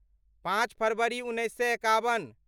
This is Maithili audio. पाँच फरवरी उन्नैस सए एकाबन